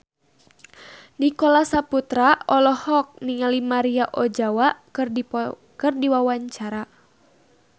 Nicholas Saputra olohok ningali Maria Ozawa keur diwawancara